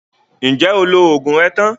Ǹjẹ́ o lo oògùn rẹ tán?